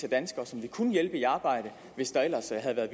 af danskere som vi kunne hjælpe i arbejde hvis der ellers havde været